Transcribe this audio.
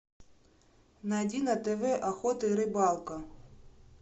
найди на тв охота и рыбалка